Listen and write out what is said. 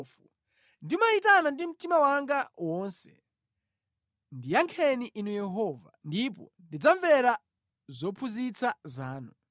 Ndimayitana ndi mtima wanga wonse; ndiyankheni Inu Yehova, ndipo ndidzamvera zophunzitsa zanu.